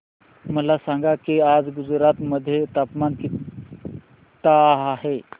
मला सांगा की आज गुजरात मध्ये तापमान किता आहे